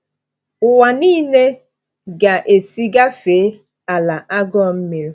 Ụwa niile ga-esi gafee “ala agụụ mmiri.”